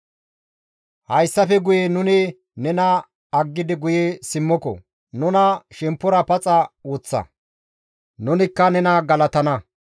Hayssafe guye nuni nena aggidi guye simmoko; nuna shemppora paxa woththa; nunikka nena galatana.